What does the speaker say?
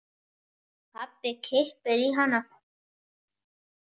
Pabbi kippir í hana.